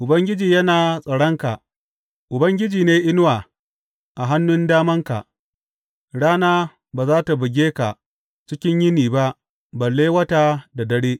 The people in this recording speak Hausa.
Ubangiji yana tsaronka, Ubangiji ne inuwa a hannun damanka; rana ba za tă buge ka cikin yini ba balle wata da dare.